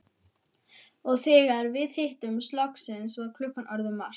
Og þegar við hittumst loksins var klukkan orðin margt.